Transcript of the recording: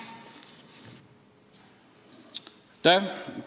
Aitäh!